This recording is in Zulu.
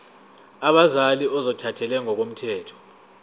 abazali ozothathele ngokomthetho